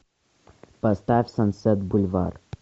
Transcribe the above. поставь сансет бульвар